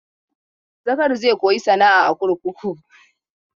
Zakari zai koyi sana'a a kurkuku.